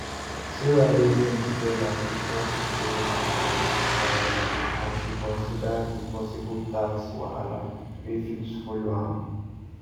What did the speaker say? sarah reason wella before she borrow her colleague two thousand as she consider the possible tax wahala wey fit follow am